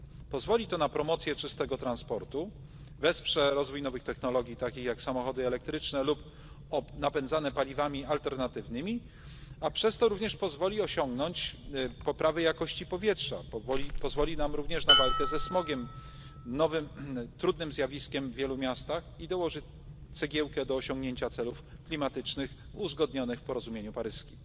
Pozwoli to na promocję czystego transportu, wesprze rozwój nowych technologii, takich jak samochody elektryczne lub napędzane paliwami alternatywnymi, a przez to również pozwoli osiągnąć poprawę jakości powietrza, pozwoli nam również na walkę ze smogiem, nowym trudnym zjawiskiem w wielu miastach, i dołoży cegiełkę do osiągnięcia celów klimatycznych uzgodnionych w porozumieniu paryskim.